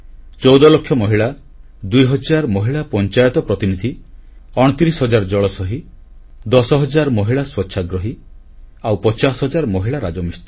14 ଲକ୍ଷ ମହିଳା 2ହଜାର ମହିଳା ପଂଚାୟତ ପ୍ରତିନିଧି 29 ହଜାର ଜଳ ସହୀ 10 ହଜାର ମହିଳା ସ୍ୱଚ୍ଛାଗ୍ରହୀ ଆଉ 50 ହଜାର ମହିଳା ରାଜମିସ୍ତ୍ରୀ